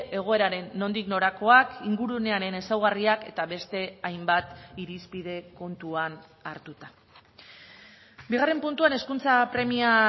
egoeraren nondik norakoak ingurunearen ezaugarriak eta beste hainbat irizpide kontuan hartuta bigarren puntuan hezkuntza premia